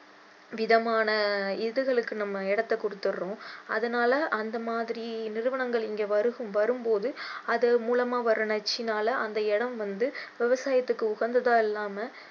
விதமான இதுகளுக்கு நம்ம இடத்தை கொடுத்திடுறோம் அதனால அந்த மாதிரி நிறுவனங்கள் இங்க வருகும்~வரும் போது அதன் மூலமா வரும் நச்சுனால அந்த இடம் வந்து விவசாயத்தைுக்கு உகந்ததா இல்லாம